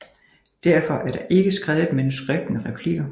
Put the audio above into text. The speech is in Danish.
Derfor er der ikke skrevet et manuskript med replikker